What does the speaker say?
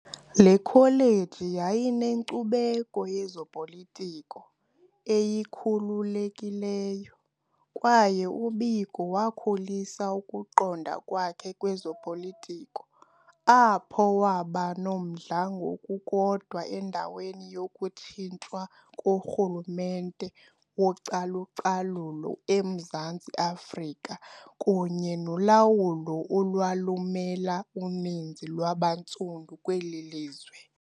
Le kholeji yayinenkcubeko yezopolitiko eyikhululekileyo, kwaye uBiko wakhulisa ukuqonda kwakhe kwezopolitiko apho. . Waba nomdla ngokukodwa endaweni yokutshintshwa korhulumente wocalu-calulo eMzantsi Afrika kunye nolawulo olwalumela uninzi lwabantsundu kweli lizwe.